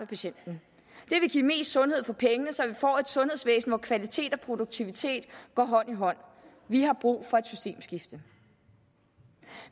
patienten det vil give mest sundhed for pengene så vi får et sundhedsvæsen hvor kvalitet og produktivitet går hånd i hånd vi har brug for et systemskifte